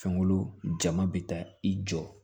Fɛnko jama bɛ taa i jɔ